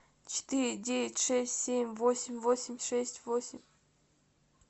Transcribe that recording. четыре девять шесть семь восемь восемь шесть восемь